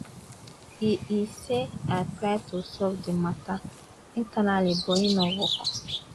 e e say i try to solve di mata internally but e no work